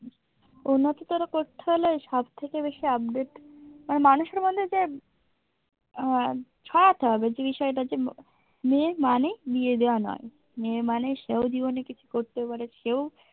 উন্নততর করতে হলে সব থেকে বেশি update মানে মানুষের মধ্যে যে আহ ছড়াতে হবে যে বিষয়টা হচ্ছে মেয়ে মানেই বিয়ে দেওয়া নয়। মেয়ে মানে সে ও জীবনে কিছু করতে পাড়ে সে ও।